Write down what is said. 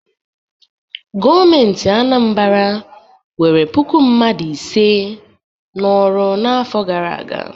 Gọọmentị Anambara nwere puku mmadụ ise n'ọrụ n'afọ gara aga.